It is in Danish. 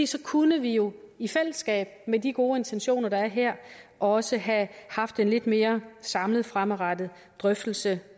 så kunne vi jo i fællesskab med de gode intentioner der er her også have haft en lidt mere samlet fremadrettet drøftelse